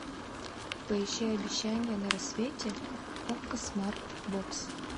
поищи обещания на рассвете окко смарт бокс